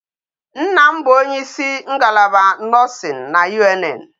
Nna m bụ onye isi ngalaba nursing na UNN